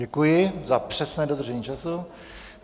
Děkuji za přesné dodržení času.